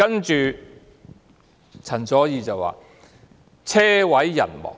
接着，陳佐洱說："車毀人亡"。